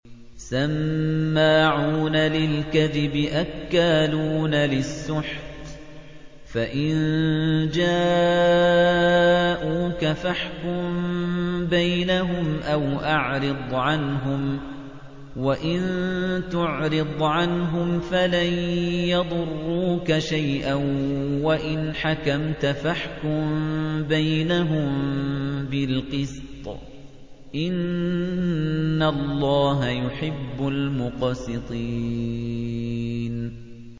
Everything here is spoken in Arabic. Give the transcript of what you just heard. سَمَّاعُونَ لِلْكَذِبِ أَكَّالُونَ لِلسُّحْتِ ۚ فَإِن جَاءُوكَ فَاحْكُم بَيْنَهُمْ أَوْ أَعْرِضْ عَنْهُمْ ۖ وَإِن تُعْرِضْ عَنْهُمْ فَلَن يَضُرُّوكَ شَيْئًا ۖ وَإِنْ حَكَمْتَ فَاحْكُم بَيْنَهُم بِالْقِسْطِ ۚ إِنَّ اللَّهَ يُحِبُّ الْمُقْسِطِينَ